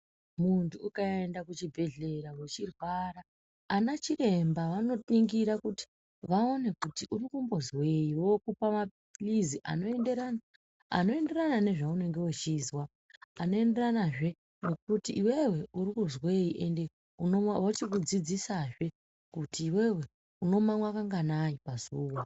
Muntu ukaenda kuchibhedhlera wechirwara, anachiremba, vanoningira kuti vaone kuti urikumbozwei, vokupa maphirizi anoenderana, anoenderana nezvaunenge uchizwa, anoenderanazve nekuti iwewe uri kuzwei, ende unomwa vochikudzidzisazve kuti iwewe unomamwa kanganai pazuwa.